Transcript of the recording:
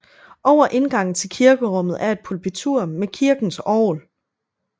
Over indgangen til kirkerummet er et pulpitur med kirkens orgel